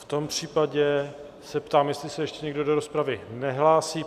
V tom případě se ptám, jestli se ještě někdo do rozpravy nehlásí?